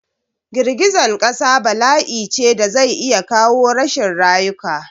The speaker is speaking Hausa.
Girgizan ƙasa bala'ice da zai iya kawo rashin rayuka